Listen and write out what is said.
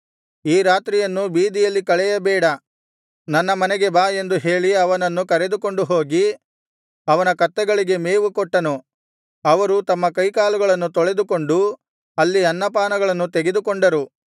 ಈ ರಾತ್ರಿಯನ್ನು ಬೀದಿಯಲ್ಲಿ ಕಳೆಯಬೇಡ ನನ್ನ ಮನೆಗೆ ಬಾ ಎಂದು ಹೇಳಿ ಅವನನ್ನು ಕರೆದುಕೊಂಡು ಹೋಗಿ ಅವನ ಕತ್ತೆಗಳಿಗೆ ಮೇವು ಕೊಟ್ಟನು ಅವರು ತಮ್ಮ ಕೈಕಾಲುಗಳನ್ನು ತೊಳೆದುಕೊಂಡು ಅಲ್ಲಿ ಅನ್ನಪಾನಗಳನ್ನು ತೆಗೆದುಕೊಂಡರು